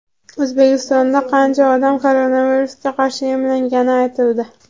O‘zbekistonda qancha odam koronavirusga qarshi emlangani aytildi.